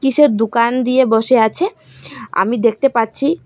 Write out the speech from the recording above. কীসের দুকান দিয়ে বসে আছে আমি দেখতে পাচ্ছি।